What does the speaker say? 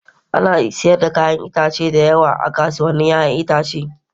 Ana sayar da 'ya'yan itatuwa da yawa a kasuwannin 'ya'yan itace.